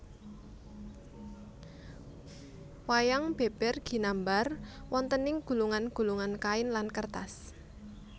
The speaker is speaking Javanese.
Wayang beber ginambar wontening gulungan gulungan kain lan kertas